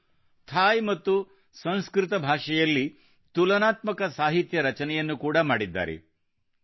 ಅವರು ಥಾಯ್ ಮತ್ತು ಸಂಸ್ಕೃತ ಭಾಷೆಯಲ್ಲಿ ತುಲನಾತ್ಮಕ ಸಾಹಿತ್ಯ ರಚನೆಯನ್ನು ಕೂಡಾ ಮಾಡಿದ್ದಾರೆ